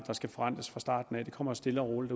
der skal forrentes fra starten af de kommer stille og roligt